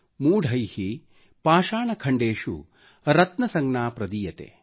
ಮೂಢೈ ಪಾಷಾಣಖಂಡೇಷು ರತ್ನಸಂಜ್ಞಾ ಪ್ರದೀಯತೆ|